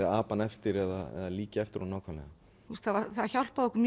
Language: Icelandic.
apa hann eftir eða líkja eftir honum nákvæmlega það hjálpaði okkur